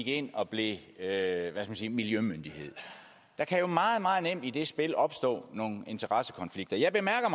ind og blev hvad skal man sige miljømyndighed der kan jo meget meget nemt i det spil opstå nogle interessekonflikter jeg bemærker